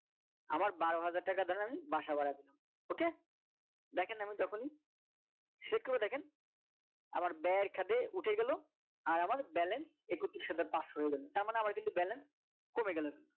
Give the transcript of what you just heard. আমার বারো হাজার টাকা ধরেন বাসা ভাড়া দিলাম okay দেখেন আমি যখনই করে দেখেন আবার ব্যয়ের খাতায় উঠে গেল আর আমার balance একত্রিশ হাজার পাঁচশো হয়ে গেল তারমানে আমার কিন্তু balance কমে গেল